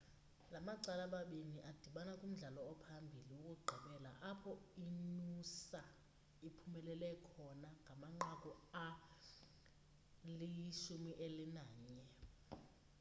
la macala mabini adibana kumdlalo ophambili wokugqibela apho inoosa iphumelele khona ngamanqaku ali-11